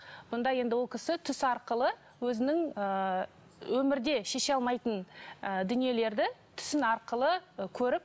бұнда енді ол кісі түс арқылы өзінің ыыы өмірде шеше алмайтын ы дүниелерді түсін арқылы көріп